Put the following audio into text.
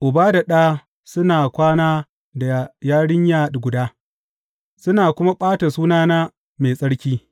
Uba da ɗa su na kwana da yarinya guda, suna kuma ɓata sunana mai tsarki.